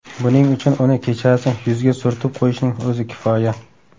Buning uchun uni kechasi yuzga surtib qo‘yishning o‘zi kifoya.